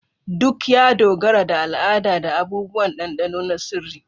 Duk ya dogara da al'ada da abubuwan dandano na sirri.